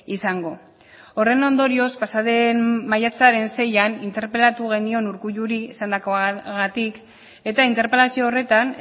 izango horren ondorioz pasa den maiatzen seian interpelatu genion urkulluri esandakoagatik eta interpelazio horretan